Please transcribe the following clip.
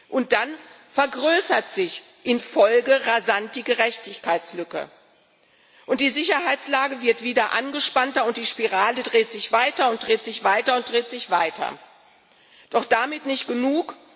Und dann vergrößert sich in der Folge rasant die Gerechtigkeitslücke, die Sicherheitslage wird wieder angespannter, und die Spirale dreht sich weiter und dreht sich weiter und dreht sich weiter. Doch damit nicht genug!